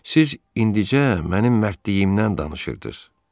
Siz indicə mənim mərdliyimdən danışırdınız.